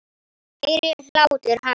Heyri hlátur hans.